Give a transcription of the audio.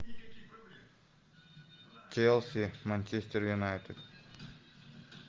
челси манчестер юнайтед